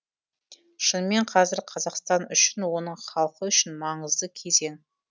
шынымен қазір қазақстан үшін оның халқы үшін маңызды кезең